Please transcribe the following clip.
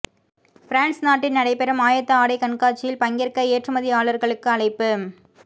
France நாட்டில் நடைபெறும் ஆயத்த ஆடை கண்காட்சியில் பங்கேற்க ஏற்றுமதியாளர்களுக்கு அழைப்பு